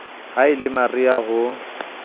ha e le mariha ho